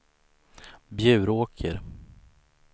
Bjuråker